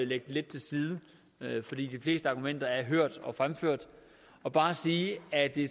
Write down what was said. den lidt til side for de fleste argumenter er hørt og fremført og bare sige at det